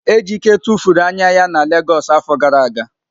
Ejike tụfuru anya ya na Legọs afọ gara aga.